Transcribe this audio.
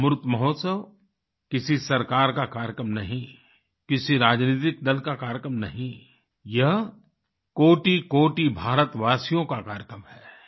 अमृत महोत्सव किसी सरकार का कार्यक्रम नहीं किसी राजनीतिक दल का कार्यक्रम नहीं यह कोटिकोटि भारतवासियों का कार्यक्रम है